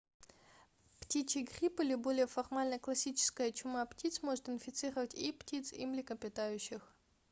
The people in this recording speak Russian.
птичий грипп или более формально классическая чума птиц может инфицировать и птиц и млекопитающих